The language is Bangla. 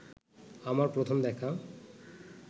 আমার প্রথম দেখা